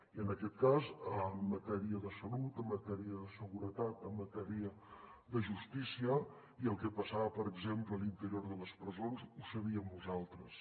i en aquest cas en matèria de salut en matèria de seguretat en matèria de justícia el que passava per exemple a l’interior de les presons ho sabíem nosaltres